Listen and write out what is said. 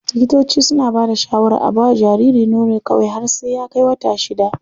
Likitoci suna bada shawarar a bawa jariri nono kawai har sai ya kai wata shida.